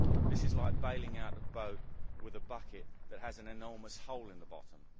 This is like baling out a boat with a bucket that has an enormous hole in the bottom.